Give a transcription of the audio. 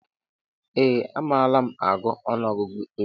Ee a malu m agụ ọnụọgụgụ igbo